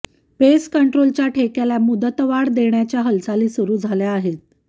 paste कंट्रोलच्या ठेक्याला मुदतवाढ देण्याच्या हालचाली सुरू झाल्या आहेत